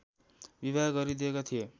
विवाह गरिदिएका थिए